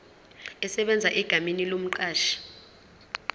esebenza egameni lomqashi